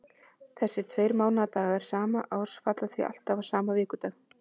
Þessir tveir mánaðardagar sama árs falla því alltaf á sama vikudag.